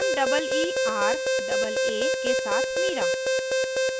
* meeraa के साथ meeraa